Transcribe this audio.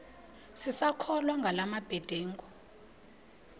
sisakholwa ngala mabedengu